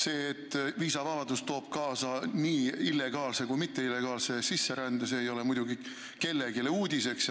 See, et viisavabadus toob kaasa nii illegaalse kui mitteillegaalse sisserände, ei ole muidugi kellelegi uudiseks.